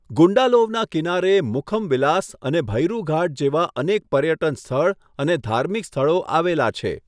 ગુંડાલોવના કિનારે મુખમ વિલાસ અને ભૈરુ ઘાટ જેવા અનેક પર્યટન સ્થળ અને ધાર્મિક સ્થળો આવેલા છે.